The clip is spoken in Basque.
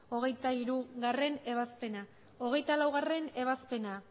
hogeita hirugarrena ebazpena hogeita laugarrena ebazpena